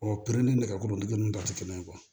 Ɔ pere ni nɛgɛkɔrɔ nɛgɛ ninnu ta tɛ kelen ye